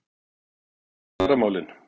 Til dæmis kjaramálin?